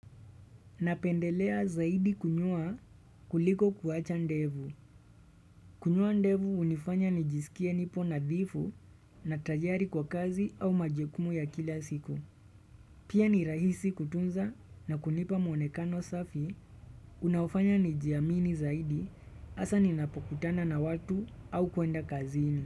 Napendelea zaidi kunyoa kuliko kuacha ndevu. Kunyoa ndevu unifanya nijisikie nipo na dhifu na tayari kwa kazi au majukumu ya kila siku. Pia ni rahisi kutunza na kunipa mwonekano safi unaofanya nijiamini zaidi asa ninapokutana na watu au kuenda kazini.